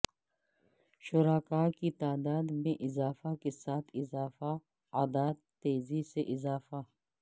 شرکاء کی تعداد میں اضافہ کے ساتھ اضافہ اعداد تیزی سے اضافہ